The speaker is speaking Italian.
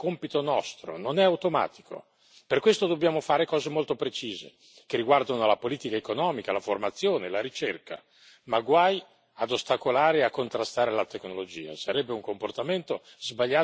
Governare e gestire il processo è compito nostro, non è automatico. Per questo dobbiamo fare cose molto precise, che riguardano la politica economica, la formazione, la ricerca, ma guai ad ostacolare e a contrastare la tecnologia.